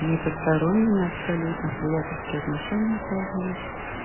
не посторонними абсолютно приятельские отношения сложились